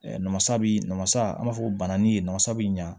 Namasa bi namasa an b'a fɔ banani ye masa bi ɲɛ